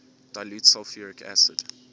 dilute sulfuric acid